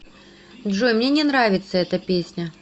джой мне не нравится эта песня